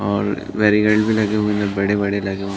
और बेरिकेट लगे हुये हैं बड़े - बड़े लगे हुए --